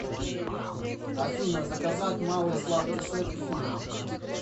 афина заказать малый сладкий сет к фильму